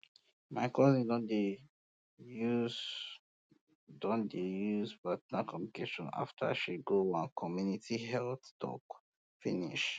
my cousin don dey use don dey use partner communication after she go one community health talk finish